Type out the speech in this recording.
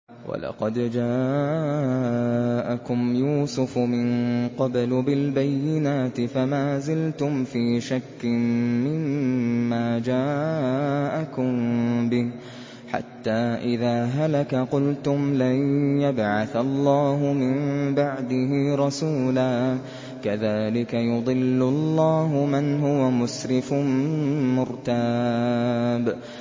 وَلَقَدْ جَاءَكُمْ يُوسُفُ مِن قَبْلُ بِالْبَيِّنَاتِ فَمَا زِلْتُمْ فِي شَكٍّ مِّمَّا جَاءَكُم بِهِ ۖ حَتَّىٰ إِذَا هَلَكَ قُلْتُمْ لَن يَبْعَثَ اللَّهُ مِن بَعْدِهِ رَسُولًا ۚ كَذَٰلِكَ يُضِلُّ اللَّهُ مَنْ هُوَ مُسْرِفٌ مُّرْتَابٌ